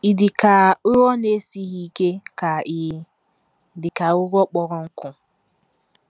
Ị̀ Dị Ka Ụrọ Na - esighị Ike Ka Ị̀ Dị Ka Ụrọ Kpọrọ Nkụ?